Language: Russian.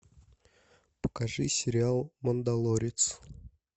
покажи сериал мандалорец